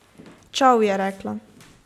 Čao, je rekla.